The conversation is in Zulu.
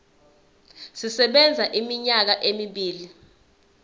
sisebenza iminyaka emibili